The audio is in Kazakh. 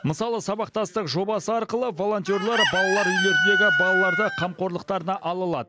мысалы сабақтастық жобасы арқылы волонтерлар балалар үйлеріндегі балаларды қамқорлықтарына ала алады